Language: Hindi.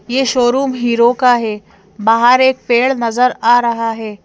यह शोरूम हीरो का है बाहर एक पेड़ नजर आ रहा है।